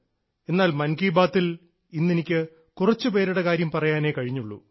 എന്നാൽ മൻ കി ബാത്തിൽ ഇന്നെനിക്ക് കുറച്ചുപേരുടെ കാര്യം പറയാനേ കഴിഞ്ഞുള്ളൂ